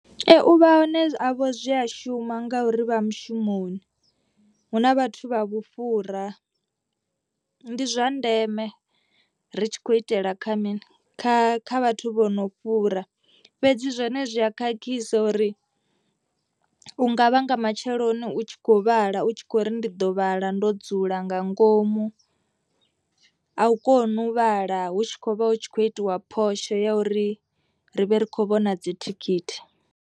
Ee uvha hone havho zwi a shuma ngauri vha mushumoni. Hu na vhathu vha vhufhura ndi zwa ndeme ri tshi khou itela kha mini kha kha vhathu vho no fhura. Fhedzi zwone zwi a khakhisa uri u nga vhanga matsheloni u tshi kho vhala u tshi kho ri ndi ḓo vhala ndo dzula nga ngomu. A u koni u vhala hu tshi kho vha hu tshi khou itiwa phosho ya uri ri vhe ri khou vhona dzithikhithi.